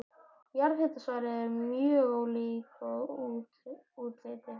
Jarðhitasvæði eru mjög ólík að útliti.